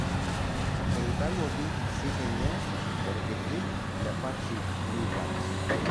Eitawuoki sininye orkiti le Patrick Kluivert